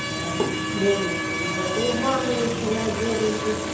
вообще ничего из этого мама начинает нервной